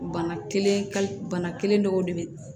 Bana kelen kali bana kelen dɔw de be